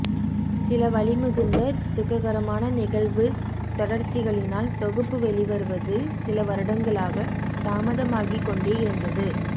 சில வலிமிகுந்த துக்ககரமான நிகழ்வுத்தொடர்ச்சிகளினால் தொகுப்பு வெளிவருவது சில வருடங்களாக தாமதமாகிக்கொண்டே இருந்தது